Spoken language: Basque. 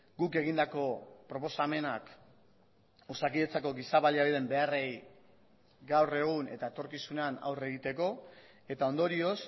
guk egindako proposamenak osakidetzako giza baliabideen beharrei gaur egun eta etorkizunean aurre egiteko eta ondorioz